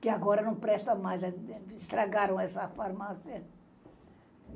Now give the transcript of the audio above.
que agora não presta mais, estragaram essa farmácia.